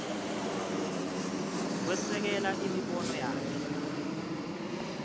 kwesekela imibono yakhe